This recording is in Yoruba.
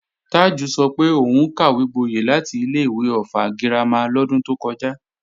Tájù sọ pé òun kàwégboyẹ̀ láti ilé-ìwé Ọ̀ffà girama lọ́dún tó kọjá